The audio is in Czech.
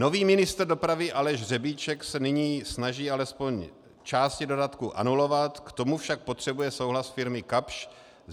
Nový ministr dopravy Aleš Řebíček se nyní snaží alespoň části dodatku anulovat, k tomu však potřebuje souhlas firmy Kapsch.